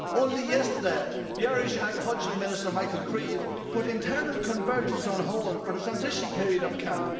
Only yesterday, the Irish agriculture minister, Michael Creed, put internal convergence on hold for the transition period of CAP.